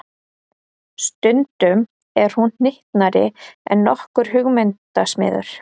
Stundum er hún hnyttnari en nokkur hugmyndasmiður.